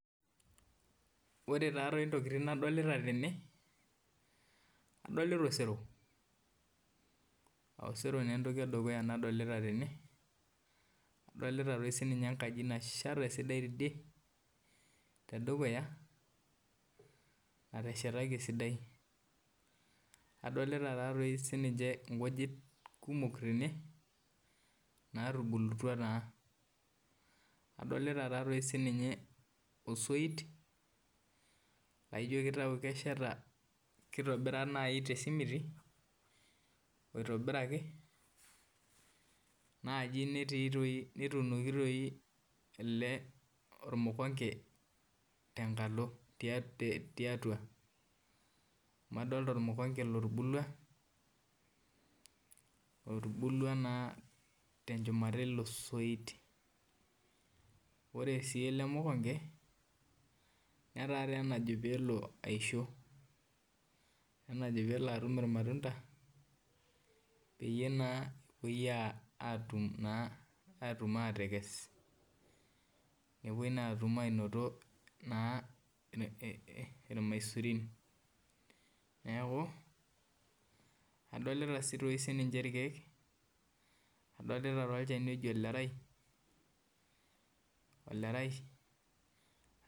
Ore taatoi ntokitin nadolta tene adolita osero osero na entoki edukuya nadolta tene, adolita sinye enkaji nasheta esidai tidie tedukuya nateshetaki esidai adolta taatoi sininye nkujit kumok tene natubulutwa, adolta sinye osoit laijo kitau kesheta kitobira nai tesimiti oitobiraki naji netuunoki toi ormukonde tenkalo tiatua amu adolta ormukonde otubulua na tenchumata elesoit na ore ele mukonde nataa enajo pelo aisho etaa enajo pelo atum irmatunda pepuo na atum ashom atekes nepuoi na atum irmaisurin neaku adolita sininche irkiek adolta olchani oji olerai, olerai.